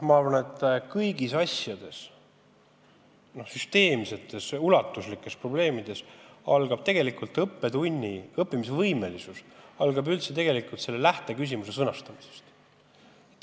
Ma arvan, et kõigi süsteemsete ja ulatuslike probleemide puhul oleneb õppimisvõimelisus lähteküsimuse sõnastamisest.